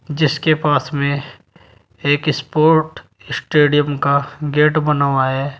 जिसके पास में एक स्पोर्ट स्टेडियम का गेट बना हुआ है।